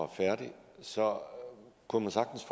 færdig så kunne man sagtens